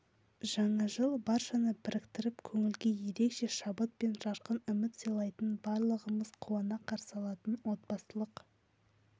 жаңа жыл баршаны біріктіріп көңілге ерекше шабыт пен жарқын үміт сыйлайтын барлығымыз қуана қарсы алатын отбасылық